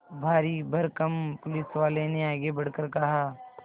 भारीभरकम पुलिसवाले ने आगे बढ़कर कहा